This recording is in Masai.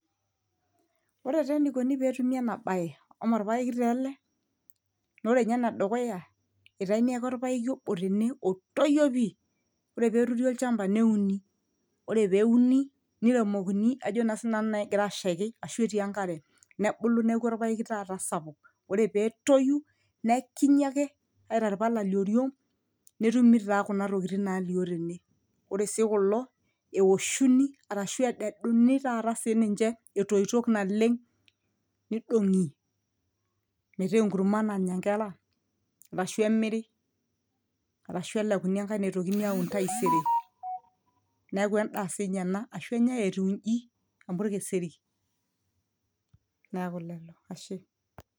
ore taa enikoni petumi ena baye eme orpayeki taa ele nore ninye enedukuya itaini ake orpayeki obo tene otoyio pii ore peturi olchamba neuni ore peuni niremokini ajo naa sinanu egira naa ashaiki ashu etii enkare nebulu neeku orpayeki taata sapuk ore peetoyu nekinyi ake aitai irpala lioriong netumi taa kuna tokiting nalio tene ore sii kulo ewoshuni arashu ededuni taata sininche etoitok naleng nidong'i metaa enkurma nanya inkera arashu emiri arashu elekuni enkae naitokini aun taisere neeku endaa sinye ena ashu enyae etiu inji amu orkeseri niaku lelo ashe.